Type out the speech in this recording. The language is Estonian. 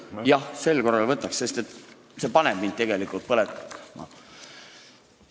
Jah, sel korral võtaks, sest see teema paneb mind tegelikult põlema.